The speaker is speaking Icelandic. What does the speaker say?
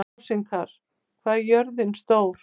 Rósinkar, hvað er jörðin stór?